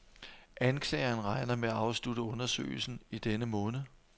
Anklageren regner med at afslutte undersøgelsen i denne måned.